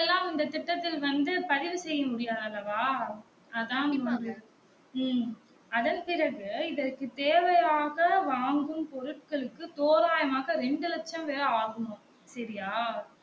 அந்த திட்டத்தில் வந்து பதிவு செய்ய முடியாதல்லவா அதான் இங்கு ம்ம் அதன் பிறகு இதற்க்கு தேவையாக வாங்கும் பொருட்களுக்கு தோராயமாக இரண்டு லட்சம் பேர் ஆகுமாம் சரியா